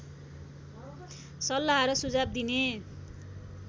सल्लाह र सुझाव दिने